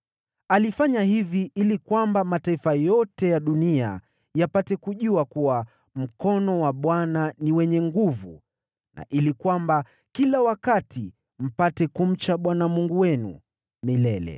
Alifanya hivi ili kwamba mataifa yote ya dunia yapate kujua kuwa mkono wa Bwana ni wenye nguvu, na ili kwamba kila wakati mpate kumcha Bwana Mungu wenu.”